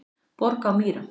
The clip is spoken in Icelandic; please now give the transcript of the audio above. Borg á Mýrum